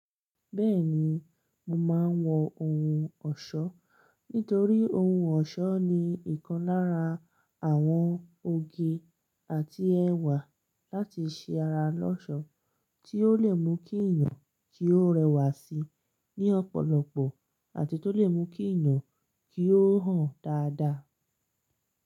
Bẹ́ẹ̀ni, mo máa ń wọ ohun ọ̀ṣọ́ nítorí ohun ọ̀ṣọ́ ni ìkan lára àwọn òge àti ẹ̀wà láti ṣe ara lọ́ṣọ̀ọ́ tí ó lè mú kí èèyàn kí ó rẹwà sí ní ọ̀pọ̀lọpọ̀ àti tó lè mú kí èèyàn kí ó hàn dáadáa.